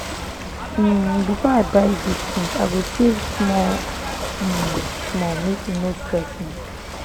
um before i buy big thing i go save small um small make e no stress me.